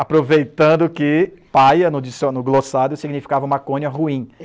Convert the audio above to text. Aproveitando que paia, no dicio, no glossário, significava maconha ruim.